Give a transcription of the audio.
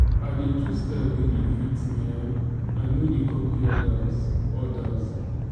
i dey choose style wey dey fit me um i no dey copy odas. odas.